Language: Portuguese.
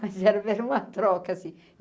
Mas era era uma troca, assim.